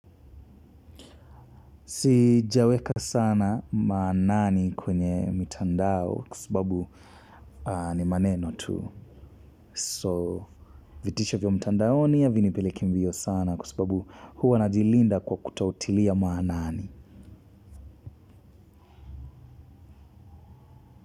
Sijaweka sana maanani kwenye mtandao kwa sababu ni maneno tu. So vitisho vyo mtandaoni havinipeleki mbio sana kwa sababu huwa najilinda kwa kutotilia maanani.